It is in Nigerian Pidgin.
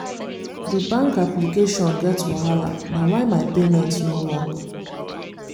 the bank application get wahala na why my payment no work